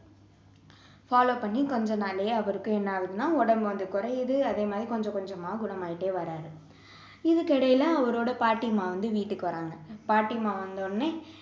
follow பண்ணி கொஞ்சம் நாள்லேயே அவருக்கு என்ன ஆகுதுன்னா உடம்பு வந்து குறையுது அதே மாதிரி கொஞ்சம் கொஞ்சமா குணம் ஆகிட்டே வர்றாரு இதுக்கு இடையில அவரோட பாட்டிம்மா வந்து வீட்டுக்கு வர்றாங்க பாட்டிம்மா வந்த உடனே